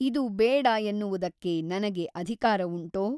ಇದು ಬೇಡ ಎನ್ನುವುದಕ್ಕೆ ನನಗೆ ಅಧಿಕಾರವುಂಟೋ ?